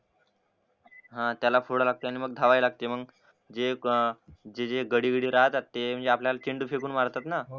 अं त्याला फोडायला लागते आणि मंग धावायला लागते मंग जे मग जे जे घडी घडी राहत असते म्हणजे आपल्याला चेंडू फेकून मारतात ना